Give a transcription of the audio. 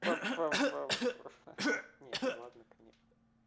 ха-ха-ха не было на коньяк